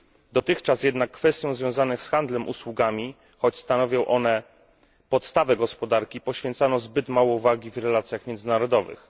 Dotychczas jednak kwestiom związanym z handlem usługami, choć stanowią one podstawę gospodarki, poświęcano zbyt mało uwagi w relacjach międzynarodowych.